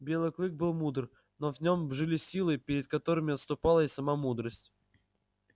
белый клык был мудр но в нём жили силы перед которыми отступала и сама мудрость